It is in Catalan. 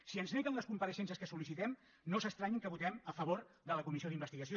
si ens neguen les compareixences que sol·licitem no s’estranyin que votem a favor de la comissió d’investigació